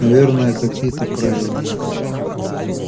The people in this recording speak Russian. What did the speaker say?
наверное какие-то правила